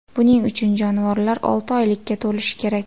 Buning uchun jonivorlar olti oylikka to‘lishi kerak.